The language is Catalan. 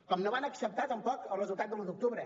com no van acceptar tampoc el resultat de l’un d’octubre